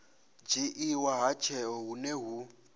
dzhiiwa ha tsheo hune hu